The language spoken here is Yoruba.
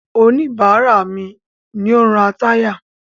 Oníbàárà mi ni ó ń ra táyà.